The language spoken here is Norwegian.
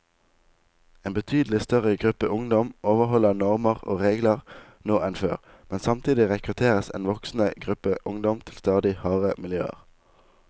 En betydelig større gruppe ungdom overholder normer og regler nå enn før, men samtidig rekrutteres en voksende gruppe ungdom til stadig hardere miljøer.